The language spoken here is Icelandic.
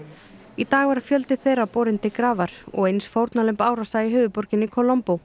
í dag var fjöldi þeirra borinn til grafar og eins fórnarlömb árása í höfuðborginni